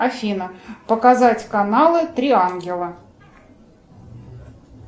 афина показать каналы три ангела